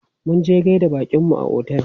Munje gaida baƙinmu a otel.